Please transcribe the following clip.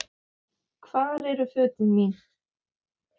Hvar eru fötin mín.?